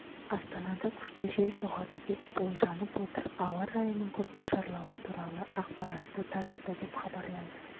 астанада күшті жел соғады деп болжанып отыр ауа райының күрт нашарлауы туралы ақпаратты таратты деп хабарлайды